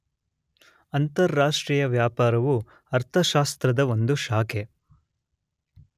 ಅಂತಾರಾಷ್ಟ್ರೀಯ ವ್ಯಾಪಾರವು ಅರ್ಥಶಾಸ್ತ್ರದ ಒಂದು ಶಾಖೆ